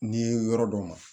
N'i ye yɔrɔ dɔ ma